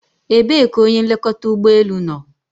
Ebee ka onye nlekọta ụgbọ elu nọ?